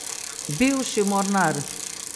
Bivši mornar.